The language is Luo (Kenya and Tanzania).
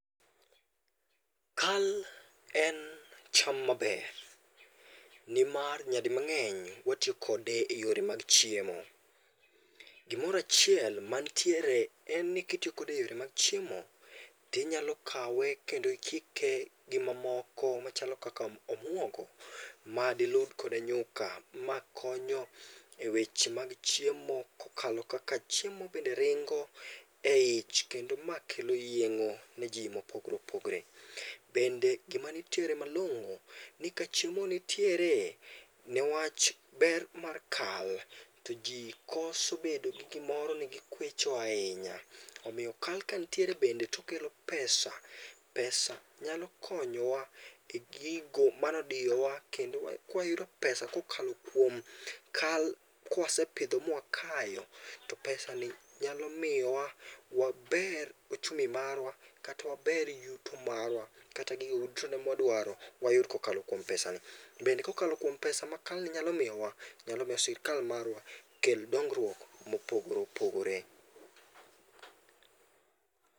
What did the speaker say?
Kal en cham maber nimar nyadimang'eny watiyo kode eyore mag chiemo. Gimoro achiel mantiere en ni kitiyo kode eyore mag chiemo, to inyalo kawe kendo ikike gimamoko machalo kaka omuogo madiruw kode nyuka makonyo eweche mag chiemo kokalo kaka chiemo bende ringo eich kendo makelo yieng'o neji mopogore opogore. Kendo gima nitie malong'o ni ka chiemo nitiere newach ber mar kal to ji koso bedo gi gimoro ni gikwecho ahinya. Omiyo kal kanitiere bende to okelo pesa. Pesa nyalo konyowa e gigo mane odiyowa kendo kawayudo pesa kokalo kum kal kwase pidho ma wakayo, to pesani nyalo miyowa wager ochumi marwa kata waber yuto marwa kata gigo duto ma wadwaro wayud kokalo kuom pesani. Bende kokalo kuom pesa makal nyalo miyowa bende nyalo miyo sírkal marwa kel dongruok mopogore opogore.